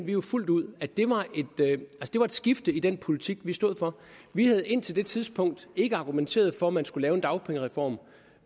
jo fuldt ud at det var et skifte i den politik vi stod for vi havde indtil det tidspunkt ikke argumenteret for at man skulle lave en dagpengereform